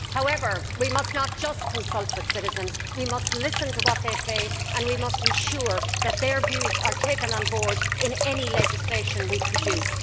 However, we must not just consult with citizens we must listen to what they say and we must ensure that their views are taken on board in any legislation we produce.